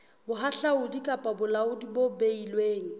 bohahlaudi kapa bolaodi bo beilweng